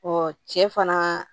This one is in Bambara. cɛ fana